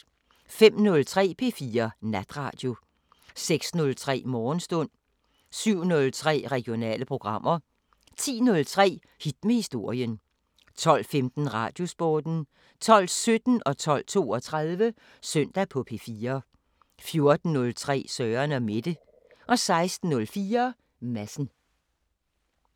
05:03: P4 Natradio 06:03: Morgenstund 07:03: Regionale programmer 10:03: Hit med historien 12:15: Radiosporten 12:17: Søndag på P4 12:32: Søndag på P4 14:03: Søren & Mette 16:04: Madsen